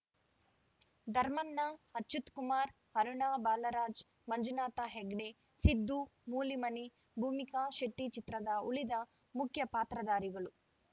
ಧರ್ಮಣ್ಣ ಅಚ್ಯುತ್‌ಕುಮಾರ್‌ ಅರುಣಾ ಬಾಲರಾಜ್‌ ಮಂಜುನಾಥ್‌ ಹೆಗ್ಡೆ ಸಿದ್ದು ಮೂಲಿಮನಿ ಭೂಮಿಕಾ ಶೆಟ್ಟಿಚಿತ್ರದ ಉಳಿದ ಮುಖ್ಯ ಪಾತ್ರದಾರಿಗಳು